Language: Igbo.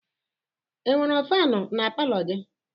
E nwere fanụ na palọ gị?